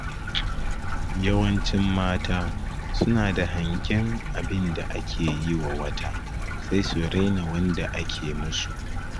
Yawancin mata suna da hangen abinda ake yiwa wata, sai su raina wanda ake musu.